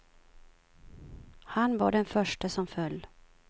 Han var den förste som föll.